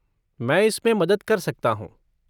मैं इसमें मदद कर सकता हूँ।